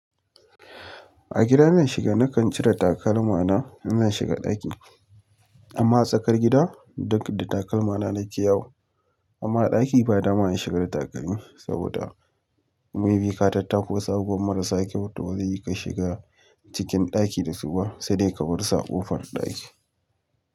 A gida in zan shiga nakan cire takalma na in zan shiga ɗaki, amma a tsakar gida duk da takalma na na ke yawo. Amma a ɗaki ba dama in shiga da takalmi saboda mebi ka tattako wasu abubuwan marasa kyau to bazai yi ka shiga cikin ɗaki dasu ba sai dai ka bar su a ƙofar ɗaki.